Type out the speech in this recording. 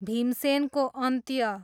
भीमसेनको अन्त्य